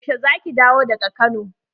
Yaushe za ki dawo daga Kano?